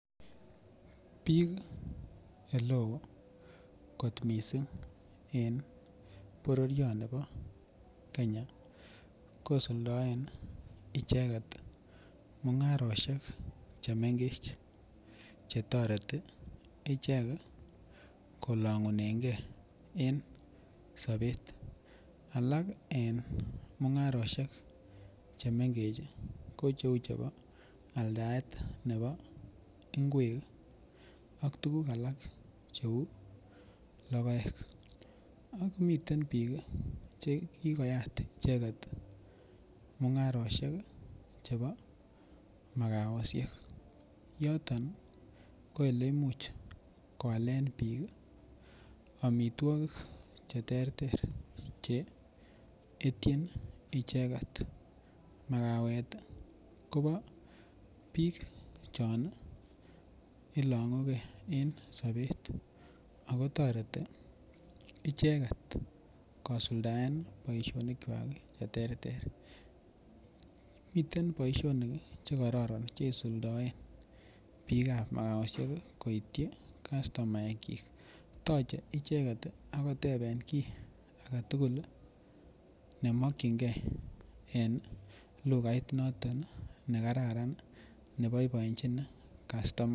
Bik eleo kot missing en bororioni bo Kenya kisuldoen icheket mungaroshek chemengech chetoreti ichek kii kolongunegee en sobet alak en mungaroshek chemengech chii ko cheu chebo aldaetab nebo ingwek ak tukuk alak cheu lokoek ak miten bik Kii chekikoyat icheket mungaroshek chebo makaoshek yoton nii ko ole imuch koalen bik kii omitwokik cheterter che ityin icheket. Makawet Kobo bik Chon nii ilongugee en sobet ako toreti icheket kosuldae boishoni kwak cheterter, miten boishonik kii chekororon cheisuldoen bikab makaoshek koityi kastomaek chik toche icheket ak koteben kii agetukul neminingee en lukait noton nekararan neboiboechin kastomaek.